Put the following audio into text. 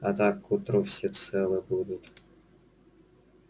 а так к утру все целы будут